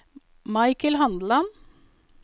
Michael Handeland